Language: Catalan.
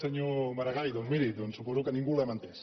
senyor maragall doncs miri suposo que ningú l’hem entès